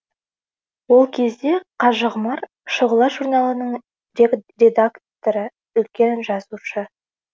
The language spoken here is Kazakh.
ол кезде қажығұмар шұғыла журналының редакторы үлкен жазушы